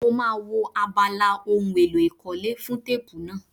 Mo máa wo abala ohun èlò ìkọ́lé fún téèpù náà.